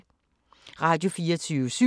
Radio24syv